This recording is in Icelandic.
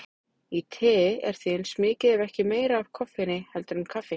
Í tei er því eins mikið ef ekki meira af koffeini heldur en í kaffi.